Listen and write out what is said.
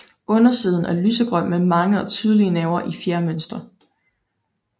Undersiden er lysegrøn med mange og tydelige nerver i fjermønster